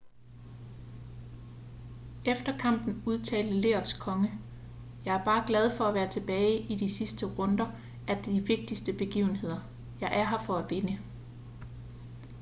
efter kampen udtalte lerets konge jeg er bare glad for at være tilbage i de sidste runder af de vigtigste begivenheder jeg er her for at vinde